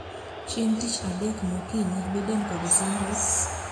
Chieng' tich adek mokinyi, Biden kod Sanders